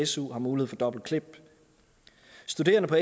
su har mulighed for dobbeltklip studerende på